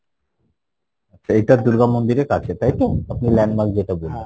এইটা দূর্গা মন্দির এর কাছে তাই তো আপনি landmark যেটা বললেন?